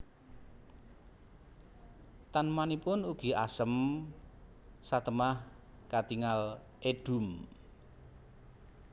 Tanemanipun ugi Asem satemah katingal edhum